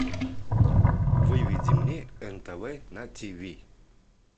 выведи мне нтв на тв